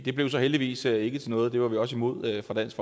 det blev så heldigvis ikke til noget og det var vi også imod fra dansk